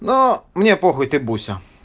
но мне похуй ты буся